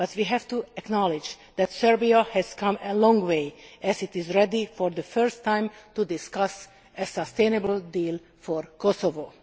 We have to acknowledge that Serbia has come a long way, as it is ready for the first time to discuss a sustainable deal for Kosovo.